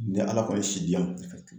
Ni ALA kɔni ye si diyan.